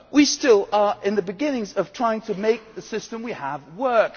We are still in the beginnings of trying to make the system we have work.